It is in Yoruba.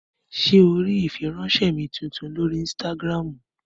Ṣé o rí ìfiránsẹ́ mi tuntun lórí ínstágíráàmù?